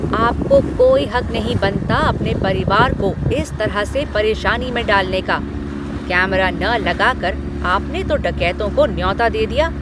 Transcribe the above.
आपको कोई हक नहीं बनता अपने परिवार को इस तरह से परेशानी में डालने का। कैमरा न लगा कर आपने तो डकैतों को न्योता दे दिया।